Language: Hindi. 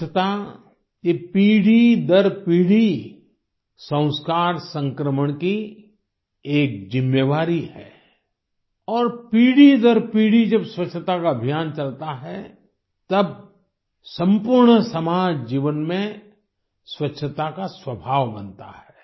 स्वच्छता ये पीढ़ी दर पीढ़ी संस्कार संक्रमण की एक जिम्मेवारी है और पीढ़ी दर पीढ़ी स्वच्छता का अभियान चलता है तब सम्पूर्ण समाज जीवन में स्वच्छता का स्वभाव बनता है